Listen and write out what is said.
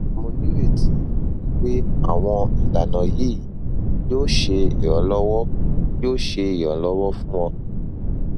mo nireti wipe awon ilana yi yo se iranlowo yo se iranlowo fun o